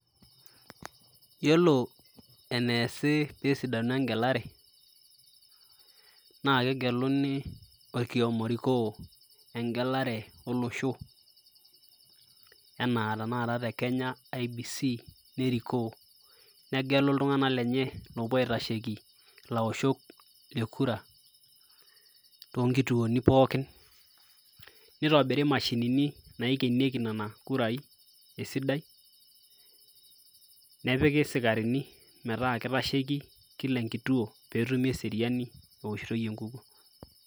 Yiolo eneesi pesidanu egelare, naa kegeluni orkioma orikoo egelare olosho, enaa tanakata te Kenya IEBC, nerikoo. Negelu iltung'anak lenye oopuo aitasheki ilaoshok le kura, tonkituoni pookin. Nitobiri mashinini naikienieki nena kurai esidai, nepiki sikarini metaa kitasheki kila enkituo, petumi eseriani eoshitoi enkukuo.